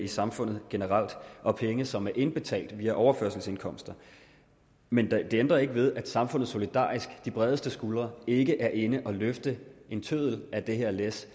samfundet generelt og penge som er indbetalt via overførselsindkomster men det ændrer ikke ved at samfundet solidarisk de bredeste skuldre ikke er inde at løfte en tøddel af det her læs